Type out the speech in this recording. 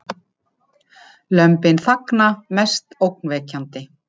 Lömbin þagna mest ógnvekjandi